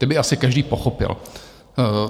Ty by asi každý pochopil.